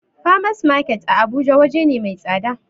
Farmers market a abuja waje na mai tsada